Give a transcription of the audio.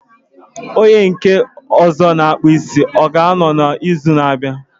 Onye nke ọzọ na akpụ isi, ọ ga anọ na izu na abịa?